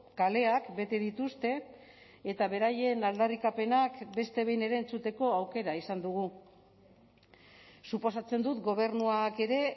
kaleak bete dituzte eta beraien aldarrikapenak beste behin ere entzuteko aukera izan dugu suposatzen dut gobernuak ere